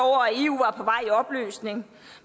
var i opløsning